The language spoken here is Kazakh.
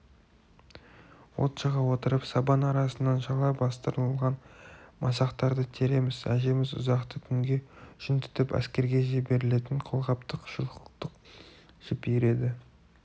от жаға отырып сабан арасынан шала бастырылған масақтарды тереміз әжеміз ұзақты күнге жүн түтіп әскерге жіберілетін қолғаптық-шұлықтық жіп иіреді